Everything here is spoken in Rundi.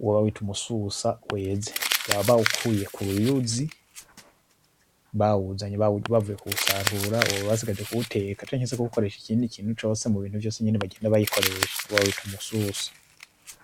Uwo bawita Umususa weze, baba bawukuye kuruyuzi, bawuzanye bavuye kuwusarura uwo baba basigaje kuwuteka canke kuwukoresha ikindi kintu cose mubintu vyose basanzwe bayikoresha, uwo bawita umususa